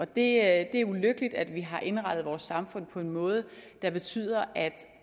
det er ulykkeligt at vi har indrettet vores samfund på en måde der betyder at